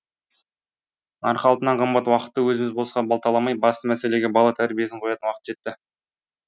нарқы алтыннан қымбат уақытты өзіміз босқа балталамай басты мәселеге бала тәрбиесін қоятын уақыт жетті